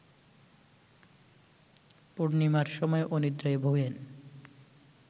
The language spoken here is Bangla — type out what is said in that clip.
পূর্ণিমার সময় অনিদ্রায় ভোগেন